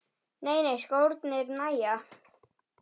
Nei nei, skórnir nægja.